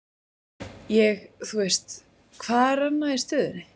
Ég, þú veist, hvað er annað í stöðunni?